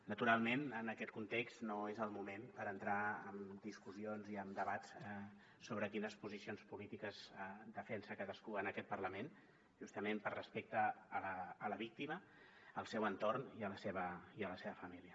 naturalment en aquest context no és el moment per entrar en discussions i en debats sobre quines posicions polítiques defensa cadascú en aquest parlament justament per respecte a la víctima al seu entorn i a la seva família